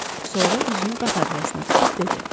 Sonra üzünü qatar rəisinə tutub dedi.